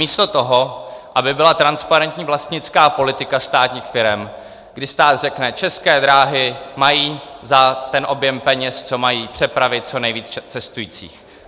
Místo toho, aby byla transparentní vlastnická politika státních firem, kdy stát řekne: České dráhy mají za ten objem peněz, co mají, přepravit co nejvíce cestujících;